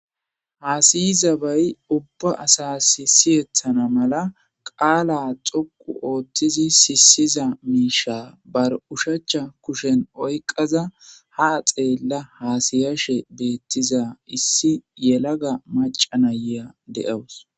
Hasayzabay ubba asas siyetana mala qala dhoqu othidi sisizza misha bar ushachan kushen oyqaza haxela hasayashe betizza issi yalaga maca nayiya deyaws